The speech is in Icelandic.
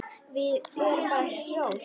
Við erum bara hjól.